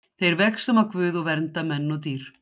Þeir vegsama Guð og vernda menn og dýr.